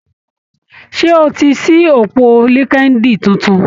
Ṣé o ti ṣí òpó LinkedIn tuntun?